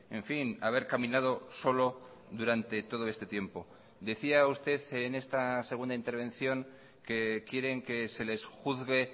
en fin haber caminado solo durante todo este tiempo decía usted en esta segunda intervención que quieren que se les juzgue